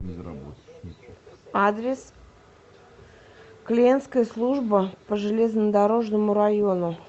адрес клиентская служба по железнодорожному району